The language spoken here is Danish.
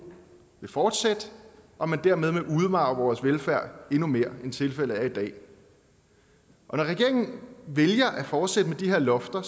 vil fortsætte og dermed vil man udmarve vores velfærd endnu mere end tilfældet er i dag og når regeringen vælger at fortsætte med de her lofter